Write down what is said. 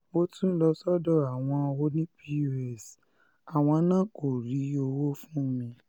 mo um tún lọ sọ́dọ̀ àwọn ọ̀nì pọ́s um àwọn náà kó rí owó fún mi